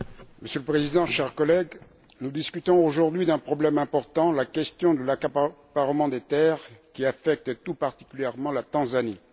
Monsieur le Président, chers collègues, nous discutons aujourd'hui d'un problème important la question de l'accaparement des terres, qui affecte tout particulièrement la Tanzanie.